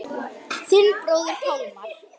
Þinn bróðir Pálmar.